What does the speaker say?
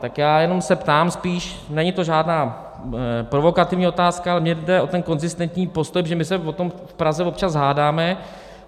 Tak já jenom se ptám spíše, není to žádná provokativní otázka, ale mně jde o ten konzistentní postoj, protože my se o tom v Praze občas hádáme.